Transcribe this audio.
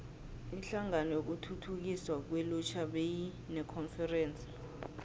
inhlangano yokuthuthukiswa kwelutjha beyinekonferense